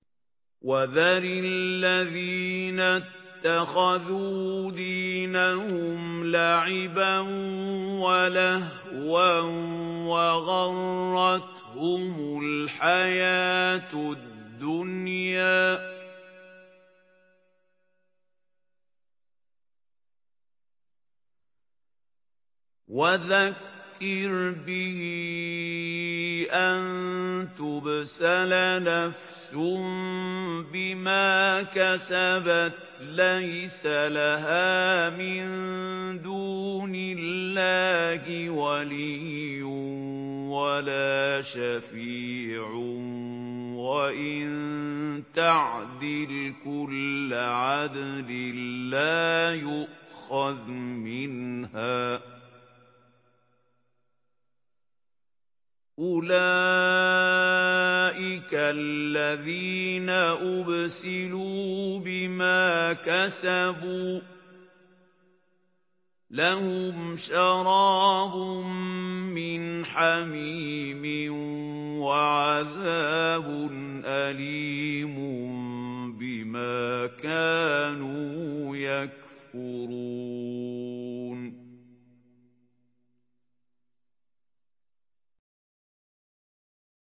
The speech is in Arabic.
وَذَرِ الَّذِينَ اتَّخَذُوا دِينَهُمْ لَعِبًا وَلَهْوًا وَغَرَّتْهُمُ الْحَيَاةُ الدُّنْيَا ۚ وَذَكِّرْ بِهِ أَن تُبْسَلَ نَفْسٌ بِمَا كَسَبَتْ لَيْسَ لَهَا مِن دُونِ اللَّهِ وَلِيٌّ وَلَا شَفِيعٌ وَإِن تَعْدِلْ كُلَّ عَدْلٍ لَّا يُؤْخَذْ مِنْهَا ۗ أُولَٰئِكَ الَّذِينَ أُبْسِلُوا بِمَا كَسَبُوا ۖ لَهُمْ شَرَابٌ مِّنْ حَمِيمٍ وَعَذَابٌ أَلِيمٌ بِمَا كَانُوا يَكْفُرُونَ